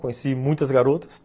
Conheci muitas garotas.